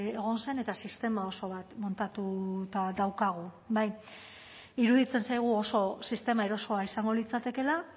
egon zen eta sistema oso bat montatuta daukagu bai iruditzen zaigu oso sistema erosoa izango litzatekeela